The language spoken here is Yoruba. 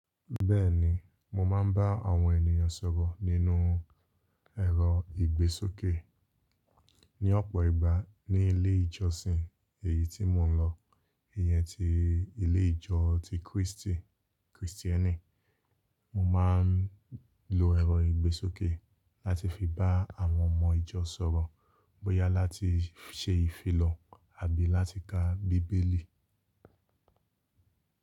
Bẹ́ẹ̀ni, mo máa ń bá àwọn ènìyàn sọ̀rọ̀ nínú ẹ̀rọ ìgbésókè. Ni ọ̀pọ̀ ìgbà ní ilé ìjọsìn èyí tí mò ń lọ, ìyẹn ti ilé ìjọ ti Krístì, Krìstíẹ́nì, mo máa ń lo ẹ̀rọ ìgbésókè láti fi bá àwọn ọmọ ìjọ sọ̀rọ̀ bóyá láti ṣe ìfilọ̀ àbí láti ka bíbélì.